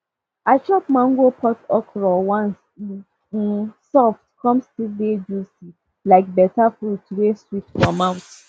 i chop mango pod okra once e um soft come still dey juicy like beta fruit wey sweet for mouth